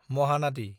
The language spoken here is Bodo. महानादि